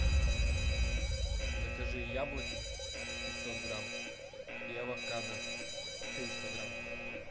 закажи яблоки пятьсот грамм и авокадо триста грамм